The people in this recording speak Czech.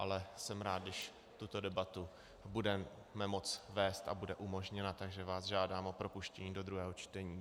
Ale jsem rád, když tuto debatu budeme moci vést a bude umožněna, takže vás žádám o propuštění do druhého čtení.